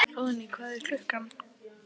Hróðný, hvað er klukkan?